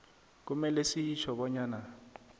kumele sitjho bonyana